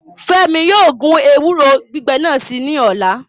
Fẹmi yóò gun ewuro gbigbẹ nas ni ọla